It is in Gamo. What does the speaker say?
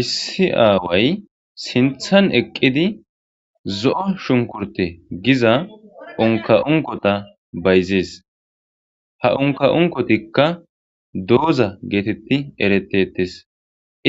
issi aaway sinthan eqqidi zo7o shunkurte giza onka7unkota bayzees ha onka7unkotikka dooza geetetti eretettes